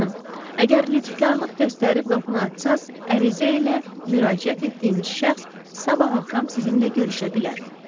Xanım, əgər lütfkarlıq göstərib qapını açsanız, ərizə ilə müraciət etdiyiniz şəxs sabah axşam sizinlə görüşə bilər.